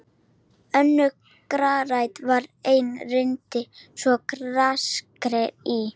Önnur garðrækt var einnig reynd, svo og grasrækt í